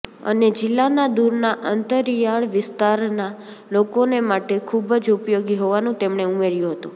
અને જિલ્લાના દૂરના અંતરિયાળ વિસ્તારના લોકોને માટે ખૂબ જ ઉપયોગી હોવાનું તેમણે ઉમેર્યું હતું